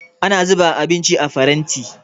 Ana zuba abinci a faranti